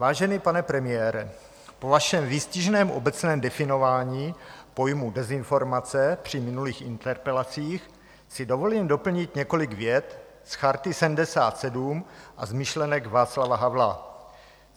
Vážený pane premiére, po vašem výstižném obecném definování pojmu dezinformace při minulých interpelacích si dovolím doplnit několik vět z Charty 77, a z myšlenek Václava Havla.